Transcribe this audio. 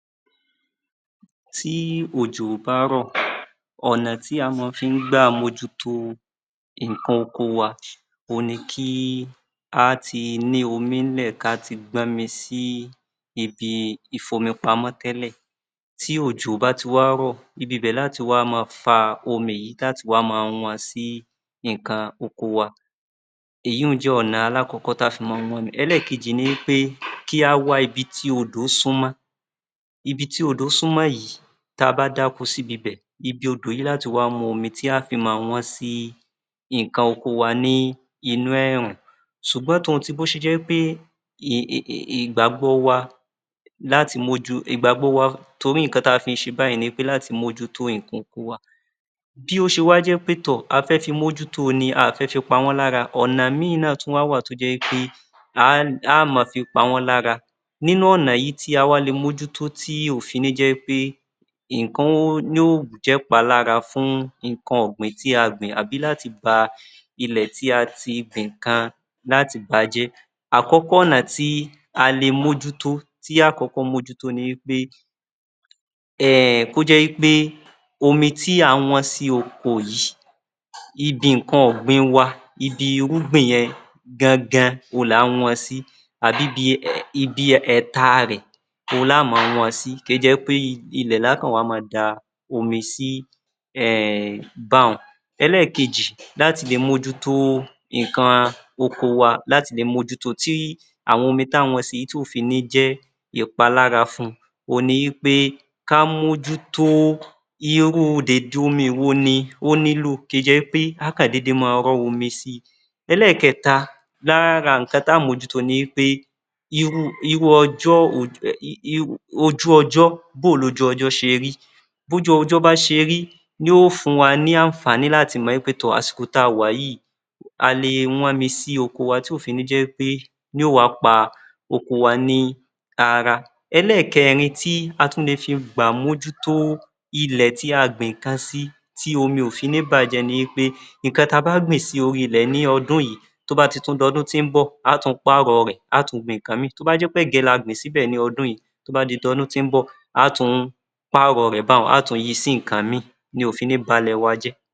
Tí òjò bá rọ̀, ọ̀nà tí a máa fí ń gbà mójútó nǹkan oko wa òhun ni kí á tí ní omi nílẹ̀, ká tí gbọ́n mi sí ibi ìfomipamọ́ tẹ́lẹ̀. Tí òjò bá ti wá rọ̀, ibi ibẹ̀ ni a ó ti wá máa fa omi yìí, tí a ó ti wá máa wọn sí nǹkan oko wa. Èyí hun jẹ́ ọ̀nà alákọ̀ọ́kọ́ tá fi máa ń wọ́ mi. Ẹlẹ́ẹ̀kejì ni wí pé kí á wá ibi tí odò súnmọ́. Ibi tí odò súnmọ́ yìí, tí a bá dá oko síbi ibẹ̀, ibi odò yìí lá tì wá mú omi tí á fì máa wọ́n sí nǹkan oko wa ní inú ẹ̀rùn. Ṣùgbọ́n tò n ti ó ṣe jẹ́ wí pé ìgbàgbọ́ wa láti mójú ìgbàgbọ́ wa torí nǹkan táa fi ń ṣe báyìí ni pé láti mójútó nǹkan oko wa. Bí ó ṣe wá jẹ́ pé tọ̀ a fẹ́ fi mójútó ni, a à fẹ́ fi pa wọ́n lára, ọ̀nà ìmí náà tún wá wà tí ó jẹ́ wí pé a á ma fi pa wọ́n lára. Nínú ọ̀nà yìí tí a wá le mójútó tí ò fi ní jẹ́ pé nǹkan yóò jẹ́ ìpalára fún nǹkan ọ̀gbìn tí a gbìn àbí láti ba ilẹ̀ tí a ti gbìn nǹkan, láti bà á jẹ́. Àkọ́kọ́, ọ̀nà tí a le mójútó tí á kọ́kọ́ mójútó ni wí pé, um kó jẹ́ wí pé omi tí à ń wọ́n sí oko yìí, ibi nǹkan ọ̀gbìn wa, ibi irúgbìn yẹn gan-an gan-an òhun là ń wọn sí àbí ibi ibi ẹ̀ta rẹ̀ òhun la ó máa wọn sí kó jẹ́ pé ilẹ̀ la kọ̀ wá máa da omi sí um bá hun. Ẹlẹ́ẹ̀kejì, láti le mójútó nǹkan oko wa láti le mójútó. Tí àwọn omi tá a ń wọ́n si tí kò fi ní jẹ́ ìpalára fun òhun ni wí pé ká mójútó iye owó dède omi wo ni ó nílò, kì í jẹ́ pé à á kò dédé máa rọ́ omi si. Ẹlẹ́ẹ̀kẹ́ta, lára nǹkan tá mójútó ni pé irú irú ọjọ́ ojú ọjọ́, bó o lojú ọjọ́ ṣe rí? Bójú ọjọ́ bá ṣe rí ni yóò fún wa ní àǹfààní láti mọ̀ wí pé tọ̀ àsìkò tí a wà yìí, a le wọ́n mi sí oko wa tí ó fi ní jẹ́ pé yóò wá pa oko wa ní ara. Ẹlẹ́ẹ̀kẹ́rin tí a tún lè fi gbà mójútó ilẹ̀ tí a gbin nǹkan sí tí omi ò fi ní bà á jẹ́ ni wí pé nǹkan tí a bá gbin sí orí ilẹ̀ ní ọdún yìí, tó bá ti tún di ọdún tí ń bọ̀, a á tún pàrọ̀ rẹ̀ a á tún gbin nǹkan ìmí. Tó bá jẹ́ pẹ́gẹ̀ẹ́ la gbìn síbẹ̀ ní ọdún yìí, tó bá di ọdún tí ń bọ̀, á tùn ún pàrọ̀ rẹ̀ bá hun, a á tún yi sí nǹkan ìmí ni ò fì ní ba lẹ̀ wa jẹ́.